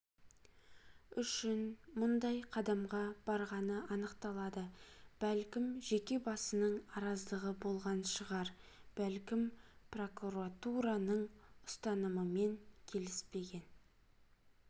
үшін мұндай қадамға барғаны анықталады бәлкім жеке басының араздығы болған шығар бәлкім прокуратураның ұстанымымен келіспеген